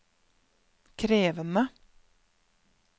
krevende